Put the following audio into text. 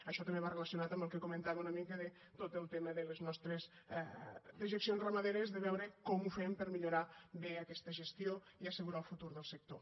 això també va relacionat amb el que comentava una mica de tot el tema de les nostres dejeccions ramaderes de veure com ho fem per millorar bé aquesta gestió i assegurar el futur del sector